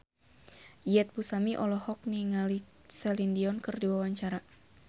Iyeth Bustami olohok ningali Celine Dion keur diwawancara